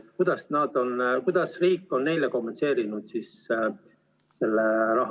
Kuidas riik on selle raha neile kompenseerinud?